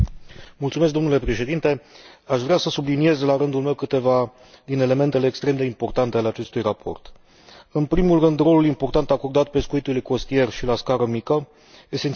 Aș vrea să subliniez, la rândul meu, câteva din elementele extrem de importante ale acestui raport în primul rând, rolul important acordat pescuitului costier și la scară mică, esențial pentru locuitorii zonelor de coastă.